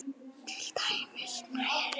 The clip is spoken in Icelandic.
Til dæmis snæri.